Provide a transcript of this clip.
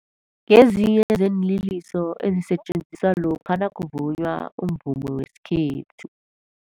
Ngezinye zeenliliso ezisetjenziswa lokha nakuvunywa umvumo wesikhethu.